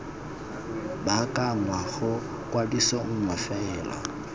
baakanngwa ga kwadiso nngwe fela